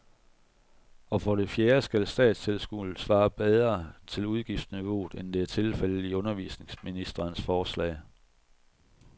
Og for det fjerde skal statstilskuddet svare bedre til udgiftsniveauet, end det er tilfældet i undervisningsministerens forslag.